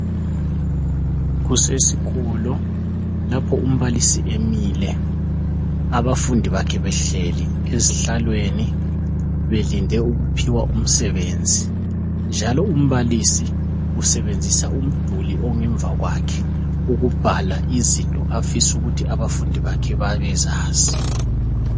Kusesikolo lapho umbalisi emile, abafundi bakhe behleli esihlalweni belinde ukuphiwa umsebenzi njalo umbalisi usebenzisa umduli ongemva kwakhe, ukubhala izinto afisa ukuthi abafundi bakhe babezazi.